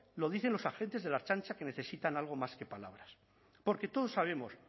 lo dicen los agentes de la ertzaintza que necesitan algo más que palabras porque todos sabemos